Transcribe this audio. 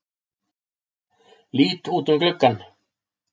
Lít út um gluggann.